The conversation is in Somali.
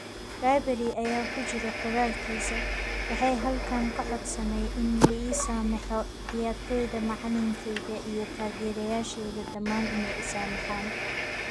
Ribery aya kujiri qoralkisa ,waxay halkan kacodsanay in liisameho ciyartoydha, macalinkeyga iyo taagyerayasheyda damaan inay iisamehan.